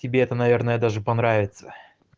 тебе это наверное даже понравится